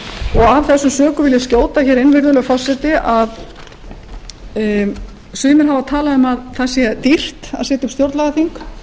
af þessum sökum vil ég skjóta inn virðulegi forseti að sumir hafa talað um að það sé dýrt að sitja stjórnlagaþing